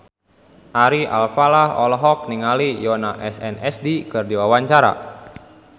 Ari Alfalah olohok ningali Yoona SNSD keur diwawancara